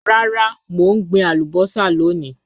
Rara, mo n gbin alubosa loni.